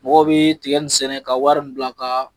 Mɔgɔ bɛ tiga nin sɛnɛ ka wari bila ka